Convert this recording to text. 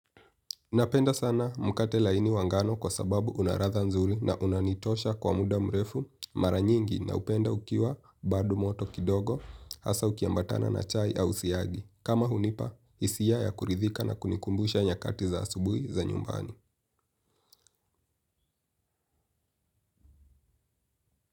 Napenda sana mukate laini wangano kwa sababu unaratha nzuli na unanitosha kwa muda mrefu mara nyingi na upenda ukiwa bado moto kidogo hasa ukiambatana na chai au siyagi. Kama hunipa, isia ya kuridhika na kunikumbusha nyakati za asubui za nyumbani.